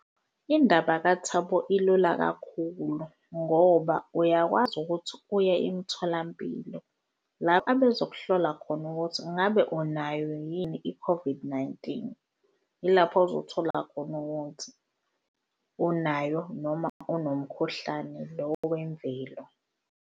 Indaba kaThabo ilula kakhulu ngoba uyakwazi ukuthi uye emtholampilo la bezokuhlola khona ukuthi ingabe unayo yini i-COVID-19. Ilapho ozothola khona ukuthi unayo noma unomkhuhlane lo wemvelo.